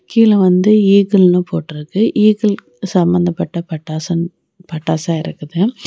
கீழ வந்து ஈகிள்ன்னு போட்ருக்கு ஈகிள் சம்பந்தப்பட்ட பட்டாசன் பட்டாச இருக்குது.